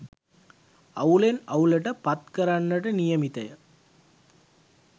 අවුලෙන් අවුලට පත් කරන්නට නියමිත ය